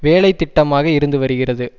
வேலைத்திட்டமாக இருந்துவருகிறது